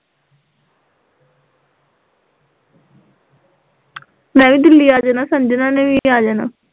ਮੈਂ ਵੀ ਦਿੱਲੀ ਆ ਜਾਣਾ, ਸੰਜਨਾ ਨੇ ਵੀ ਆ ਜਾਣਾ